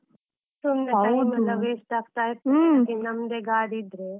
ಸುಮ್ನೆ time ಎಲ್ಲಾ waste ಆಗ್ತಾ ಇರ್ತದೆ, ಅದ್ಕೆ ನಮ್ದೇ ಗಾಡಿ ಇದ್ರೆ.